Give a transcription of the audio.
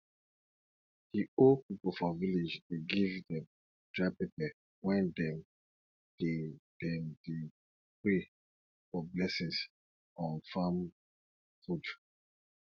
di old pipo for village dey give dem dry pepper wen dem dey dem dey pray for blessings on farm food